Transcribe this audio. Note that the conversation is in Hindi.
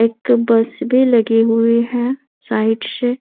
इक बस भी लगे हुए है साइड से।